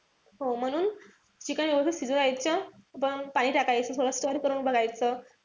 हो म्हणून chicken व्यवस्थित शिजू द्यायचं. मग पाणी टाकायचं. थोडस stir करून बघायचं.